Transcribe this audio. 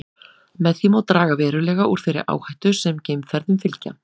Með því má draga verulega úr þeirri áhættu sem geimferðum fylgja.